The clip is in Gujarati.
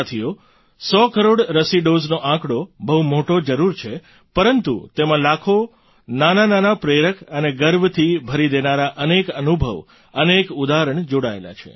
સાથીઓ સો કરોડ રસી ડૉઝનો આંકડો બહુ મોટો જરૂર છે પરંતુ તેમાં લાખો નાનાનાના પ્રેરક અને ગર્વથી ભરી દેનારા અનેક અનુભવ અનેક ઉદાહરણ જોડાયેલાં છે